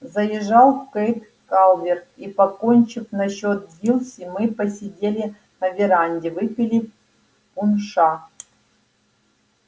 заезжал кэйд калверт и покончив насчёт дилси мы посидели на веранде выпили пунша